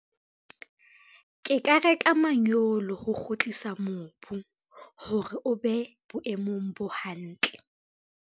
Ke ka reka manyolo ho kgutlisa mobu, hore o be boemong bo hantle.